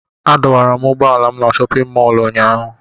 Adọwara m ụgbọala m na chọpịn mọọlụ ụnyaahụ.